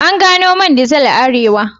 An gano man dizel a Arewa.